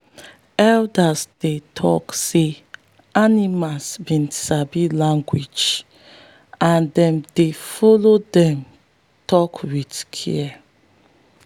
elders dey tok say animals be sabi language and them dey follow them talk with care.